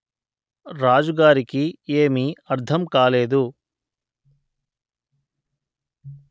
రాజు గారికి ఏమీ అర్థం కాలేదు